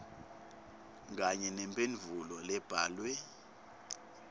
kanye nemphendvulo lebhalwe